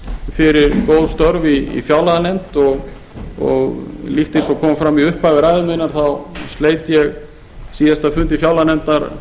fyrir góð störf í fjárlaganefnd og líkt eins og kom fram í upphafi ræðu minnar þá sleit ég síðasta fundi fjárlaganefndar